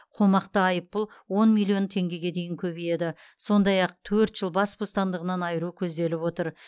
қомақты айыппұл он миллион теңгеге дейін көбейеді сондай ақ төрт жыл бас бостандығынан айыру көзделіп отыр